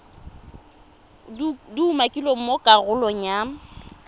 di umakilweng mo karolong ya